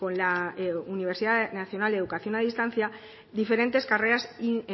la universidad nacional de educación a distancia diferentes carreras